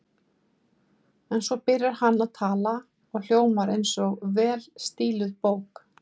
En svo byrjar hann að tala og hljómar eins og vel stíluð bók.